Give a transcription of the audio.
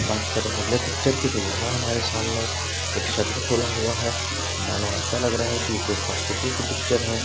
बात करें अगले पिक्चर की तो यहाँ हमारे सामने एक शटर खुला हुआ है मानो ऐसा लग रहा है कि ये कोई हॉस्पिटल की पिक्चर है।